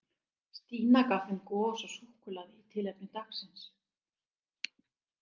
Stína gaf þeim gos og súkkulaði í tilefni dagsins.